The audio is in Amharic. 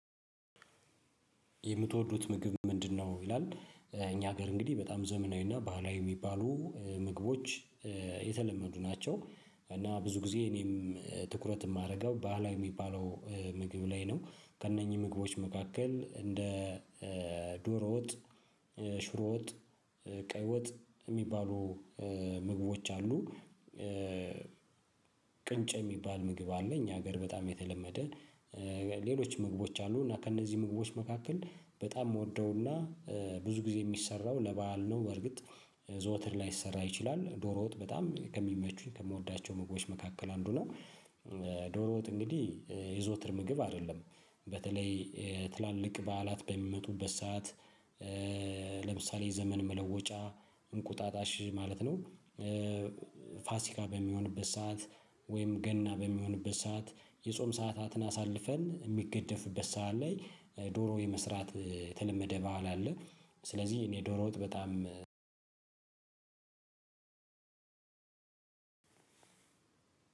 የምትወዱት ምግብ ምንድነው ይላል እኛ ሀገር እንግዲህ በጣም ዘመናዊ እና ባህላዊ የሚባሉ ምግቦች የተለመዱ ናቸው እና ብዙ ጊዜ እኔም ትኩረት የማደርገው ባህላዊ የሚባለው ምግብ ላይ ነው ከነኝህም ምግቦች መካከል እንደ ዶሮ ወጥ ሽሮ ወጥ ቀይ ወጥ የሚባሉ ምግቦች አሉ ቅንጨ የሚባል ምግብ አለ እኛ ሀገር በጣም የተለመደ ነው ሌሎች ምግቦች አሉ እና ከነዚህ ምግቦች መካከል በጣም ምወደው እና ብዙ ጊዜ የሚሰራው ለበአል ነው በርግጥ ዘወትር ላይሰራ ይችላል። ዶሮ ወጥ በጣም ከሚመቹኝ ከምወዳቸው ምግቦች መካከል አንዱ ነው ዶሮ ወጥ እንግዲህ የዘወትር ምግብ አይደለም በተለይ ትላልቅ በዓላት በሚመቱበት ሰዓት ለምሳሌ ዘመን መለወጫ እንቁጣጣሽ ማለት ነው ፋሲካ በሚሆንበት ሰዓት ወይም ገና በሚሆንበት ሰዓት የጾም ሰዓታትን አሳልፈን የሚገደፍበት ሰዓት ላይ ዶሮ የመስራት የተለመደ ባህል አለ ስለዚህ እኔ ዶሮ ወጥ በጣም